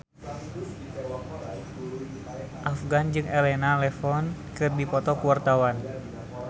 Afgan jeung Elena Levon keur dipoto ku wartawan